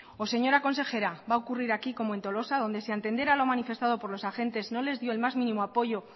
o señora consejera va a ocurrir aquí como en tolosa donde a entender a lo manifestado por los agentes no les dio el más mínimo apoyo